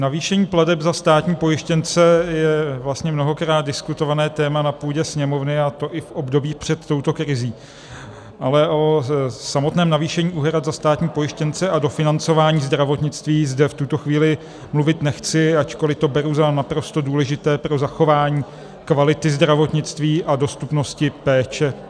Navýšení plateb za státní pojištěnce je vlastně mnohokrát diskutované téma na půdě Sněmovny, a to i v období před touto krizí, ale o samotném navýšení úhrad za státní pojištěnce a dofinancování zdravotnictví zde v tuto chvíli mluvit nechci, ačkoliv to beru za naprosto důležité pro zachování kvality zdravotnictví a dostupnosti péče.